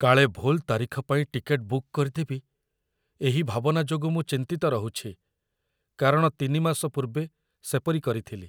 କାଳେ ଭୁଲ୍‌ ତାରିଖ ପାଇଁ ଟିକେଟ୍‌ ବୁକ୍ କରିଦେବି, ଏହି ଭାବନା ଯୋଗୁଁ ମୁଁ ଚିନ୍ତିତ ରହୁଛି, କାରଣ ୩ ମାସ ପୂର୍ବେ ସେପରି କରିଥିଲି ।